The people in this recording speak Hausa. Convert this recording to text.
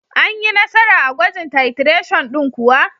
Anyi Nasara a gwajin titration din kuwa.